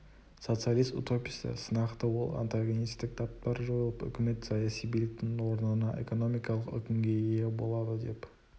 социалист-утопистер сынақты ол антигонистік таптар жойылып үкімет саяси биліктің орнына экономикалық үкімге ие болады деп